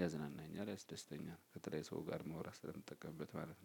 ያዝናናኛል ያስደስተኛል። ከተለያየ ሰው ጋር ለማውራት ስለምጠቀምበት ማለት ነው።